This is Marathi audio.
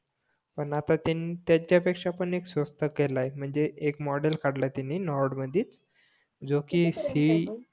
पण आता त्यांनी त्याच्या पेक्षा पण स्वस्त केलाय म्हणजे एक मॉडेल काढलाय त्यांनी नॉर्ड मधीच जो कि सी